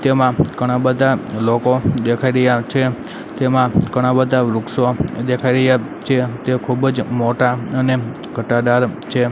તેમાં ઘણા બધા લોકો દેખાઈ રહ્યા છે તેમાં ઘણા બધા વૃક્ષો દેખાઈ રહ્યા છે તે ખૂબ જ મોટા અને ઘટાદાર છે.